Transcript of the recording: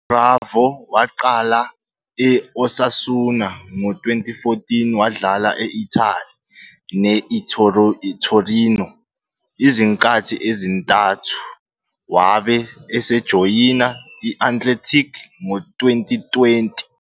UBerenguer waqala e-I-Osasuna ngo-2014, wadlala e-Italy ne-ITorino izinkathi ezintathu, wabe esejoyina i-Athletic ngo-2020.